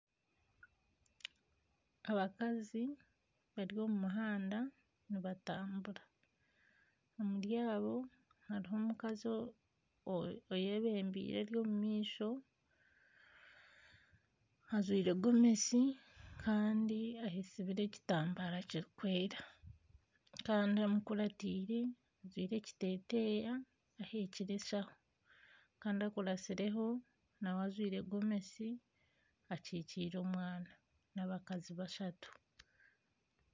Abakazi bari omumuhanda nibatambura omuri abo harimu omukazi oyebembeire Ori omumaisho ajwaire Gomesi Kandi ayesubire ekitambara kirikwera Kandi amukuratiire aine ekiteteya aheekire enshaho nawe akuratsireho ajwaire Gomesi akikiire omwana n'abakazi bashatu.